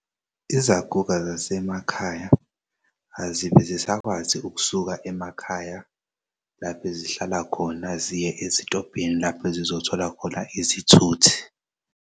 Izaguga zasemakhaya azibe zisakwazi ukusuka emakhaya laph'ezihlala khona ziye ezitobhini lapho ezizothola khona izithuthi.